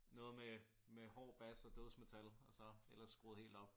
Noget med med hård bas og dødsmetal og så ellers skruet helt op